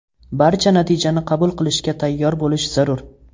Barcha natijani qabul qilishga tayyor bo‘lish zarur.